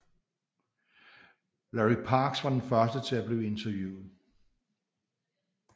Larry Parks var den første til at blive interviewet